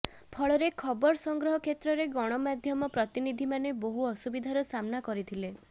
ଫଳରେ ଖବର ସଂଗ୍ରହ କ୍ଷେତ୍ରରେ ଗଣମାଧ୍ୟମ ପ୍ରତିନିଧିମାନେ ବହୁ ଅସୁବିଧାର ସାମ୍ନା କରିଥିଲେ